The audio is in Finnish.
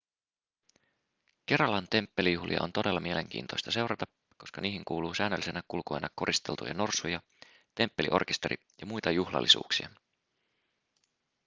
keralan temppelijuhlia on todella mielenkiintoista seurata koska niihin kuuluu säännöllisenä kulkueena koristeltuja norsuja temppeliorkesteri ja muita juhlallisuuksia